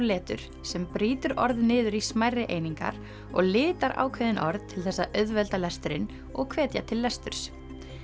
letur sem brýtur orð niður í smærri einingar og litar ákveðin orð til þess að auðvelda lesturinn og hvetja til lesturs